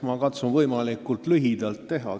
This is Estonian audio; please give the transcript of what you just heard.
Ma katsun võimalikult lühidalt teha.